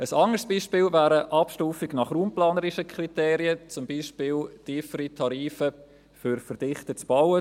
Ein anderes Beispiel wäre eine Abstufung nach raumplanerischen Kriterien, zum Beispiel tiefere Tarife für verdichtetes Bauen.